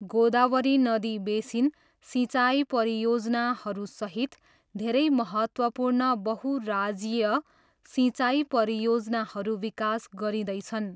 गोदावरी नदी बेसिन सिँचाइ परियोजनाहरूसहित धेरै महत्त्वपूर्ण बहु राज्यीय सिँचाइ परियोजनाहरू विकास गरिँदैछन्।